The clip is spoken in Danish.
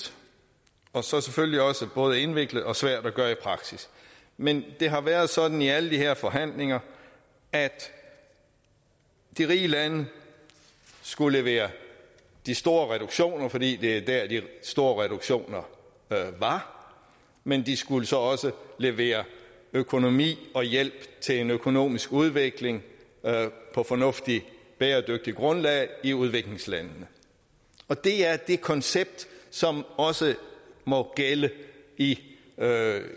og så selvfølgelig også både indviklet og svært at gøre i praksis men det har været sådan i alle de her forhandlinger at de rige lande skulle levere de store reduktioner fordi det er der de store reduktioner var men de skulle så også levere økonomi og hjælp til en økonomisk udvikling på et fornuftigt bæredygtigt grundlag i udviklingslandene og det er det koncept som også må gælde i